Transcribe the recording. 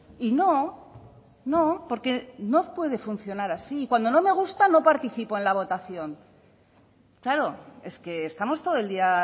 y no no porque no puede funcionar así cuando no me gusta no participo en la votación claro es que estamos todo el día